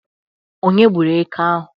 Onye gburu Éké ahụ?